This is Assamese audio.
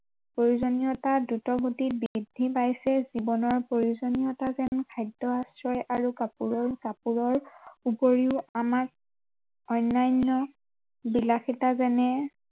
প্ৰয়োজনীয়তা দ্ৰুত গতিত বৃদ্ধি পাইছে জীৱনৰ প্ৰয়োজনীয়তা যেন খাদ্য় আশ্ৰয় আৰু কাপোৰৰ কাপোৰৰ উপৰিও আমাক অন্য়ান্য় বিলাসিতা যেনে